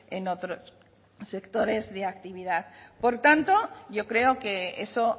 en otros sectores de actividad por tanto yo creo que eso